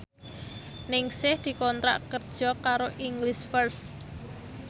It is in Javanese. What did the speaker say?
Ningsih dikontrak kerja karo English First